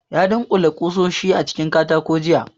Ya dunkule kusoshi a cikin katako jiya